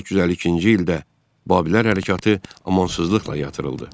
1852-ci ildə Babillər hərəkatı amansızlıqla yatırıldı.